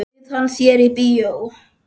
Bauð hann þér í bíó?